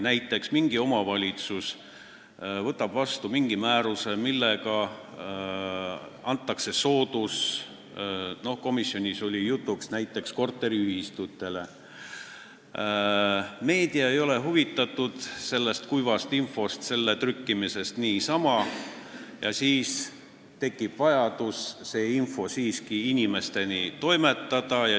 Näiteks, mingi omavalitsus võtab vastu mingi määruse, millega antakse mingi soodustus – komisjonis oli juttu näiteks korteriühistutest –, meedia ei ole aga huvitatud lihtsalt sellise kuiva info trükkimisest, ometi tekib vajadus see teave siiski inimesteni toimetada.